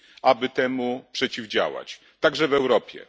aby temu przeciwdziałać, także w Europie.